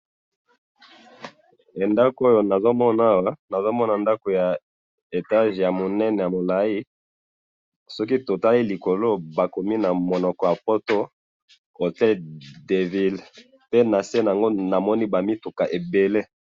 Ndako Oyo nazomona Awa, nazomona ndako ya étage ya monene ya molayi. Soko totali likolo, bakomi na monoko ya poto, hôtel de ville, pe nase nango na moni ba mituka ebele.